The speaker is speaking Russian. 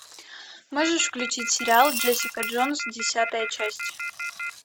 можешь включить сериал джессика джонс десятая часть